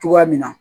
Cogoya min na